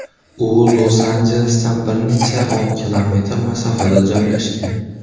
U Los-Anjelesdan bir necha o‘n km masofada joylashgan.